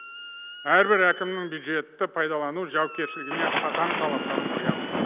әрбір әкімнің бюджетті пайдалану жауапкершілігіне қатаң талаптар қоямыз